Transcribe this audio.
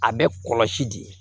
A bɛ kɔlɔsi di